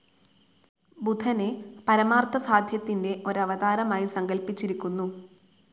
ബുധനെ, പരമാർത്ഥസാധ്യത്തിൻ്റെ ഒരവതാരമായി സങ്കൽപ്പിച്ചിരിക്കുന്നു.